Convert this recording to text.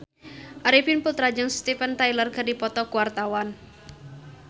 Arifin Putra jeung Steven Tyler keur dipoto ku wartawan